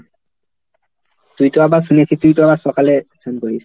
তুই তো আবার শুনেছিস তুই তো আবার সকালে চান করিস।